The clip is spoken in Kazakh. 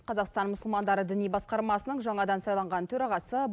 қазақстан мұсылмандары діни басқармасының жаңадан сайланған төрағасы